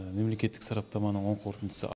мемлекеттік сараптаманың оң қорытындысы